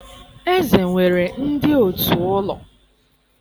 eze nwere ndị òtù ụlọ.